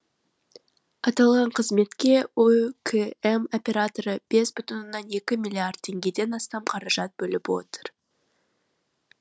аталған қызметке оөкм операторы бес бүтін оннан екі миллиард теңгеден астам қаражат бөліп отыр